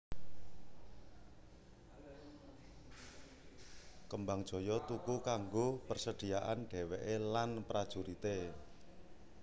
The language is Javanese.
Kembangjoyo tuku kanggo persediaan dhèwèké lan prajurité